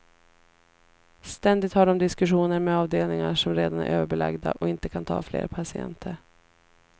Ständigt har de diskussioner med avdelningar som redan är överbelagda och inte kan ta fler patienter.